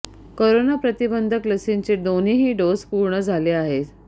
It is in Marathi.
कोरोना प्रतिबंधक लसींचे दोनही डोस पूर्ण झाले आहेत